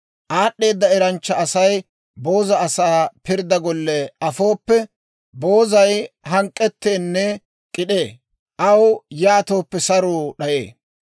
Aad'd'eeda eranchcha Asay booza asaa pirdda golle afooppe, boozay hank'k'etteenne k'id'ee; aw yaatooppe saruu d'ayee.